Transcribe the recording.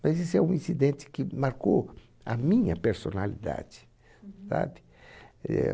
Mas esse é um incidente que marcou a minha personalidade, sabe?